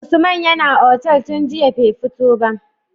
Usman yAna otal tun jiya be fito ba